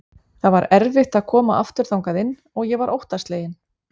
Það var erfitt að koma aftur þangað inn og ég var óttaslegin.